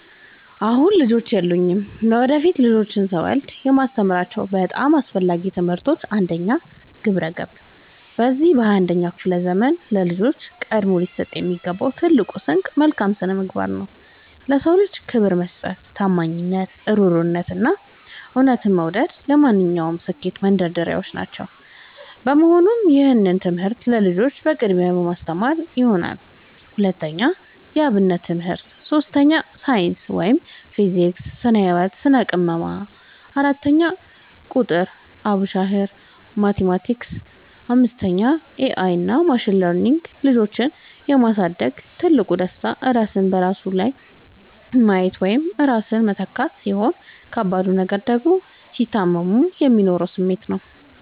አሁን ልጆች የሉኝም። ለወደፊት ልጆችን ስወልድ የማስተምራቸው በጣም አስፈላጊ ትምህርቶች፦ 1. ግብረ-ገብ፦ በዚህ በ 21ኛው ክፍለ ዘመን ለልጆች ቀድሞ ሊሰጣቸው የሚገባው ትልቁ ስንቅ መልካም ስነምግባር ነው። ለ ሰው ልጅ ክብር መስጠት፣ ታማኝነት፣ እሩህሩህነት፣ እና እውነትን መውደድ ለማንኛውም ስኬት መንደርደሪያዎች ናቸው። በመሆኑም ይህንን ትምህርት ለልጆቼ በቅድሚያ የማስተምራቸው ይሆናል። 2. የ አብነት ትምህርት 3. ሳይንስ (ፊዚክስ፣ ስነ - ህወት፣ ስነ - ቅመማ) 4. ቁጥር ( አቡሻኽር፣ ማቲማቲክስ ...) 5. ኤ አይ እና ማሽን ለርኒንግ ልጆችን የ ማሳደግ ትልቁ ደስታ ራስን በነሱ ላይ ማየት ወይም ራስን መተካት፣ ሲሆን ከባዱ ነገር ደግሞ ሲታመሙ የሚኖረው ስሜት ነው።